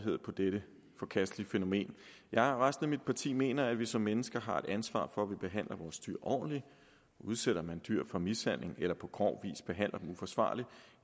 på dette forkastelige fænomen jeg og resten af mit parti mener at vi som mennesker har et ansvar for at vi behandler vores dyr ordentligt udsætter man dyr for mishandling eller på grov vis behandler dem uforsvarligt